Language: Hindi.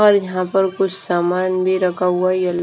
और यहां पर कुछ लगा हुआ है।